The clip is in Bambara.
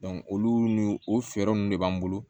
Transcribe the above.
olu n'u o fɛɛrɛ ninnu de b'an bolo